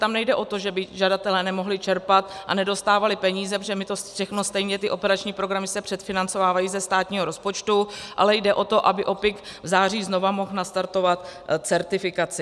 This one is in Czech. Tam nejde o to, že by žadatelé nemohli čerpat a nedostávali peníze, protože my to všechno stejně, ty operační programy se předfinancovávají ze státního rozpočtu, ale jde o to, aby OPPIK v září znovu mohl nastartovat certifikaci.